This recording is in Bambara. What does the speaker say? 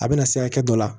A bɛna se hakɛ dɔ la